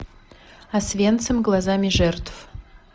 освенцим глазами жертв